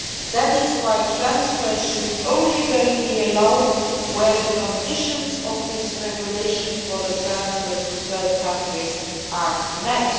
That is why transfers should only be allowed where the conditions of this regulation for the transfer to third counties are met.